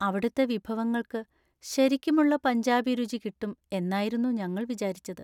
അവിടുത്തെ വിഭവങ്ങൾക്ക് ശരിക്കുമുള്ള പഞ്ചാബി രുചി കിട്ടും എന്നായിരുന്നു ഞങ്ങൾ വിചാരിച്ചത്.